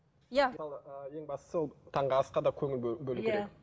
иә ең бастысы ол таңғы асқа да көңіл бөлу керек